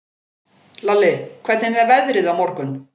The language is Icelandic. Lalli, hvernig er veðrið á morgun?